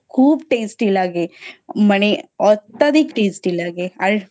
খুব Tasty লাগে মানে অত্যাধিক Tasty লাগে আর